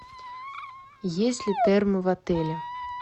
есть ли термо в отеле